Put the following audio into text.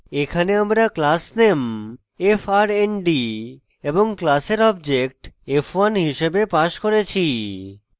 এখানে আমরা class _ name frnd এবং class object f1 হিসাবে passed করেছি